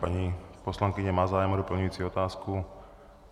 Paní poslankyně má zájem o doplňující otázku.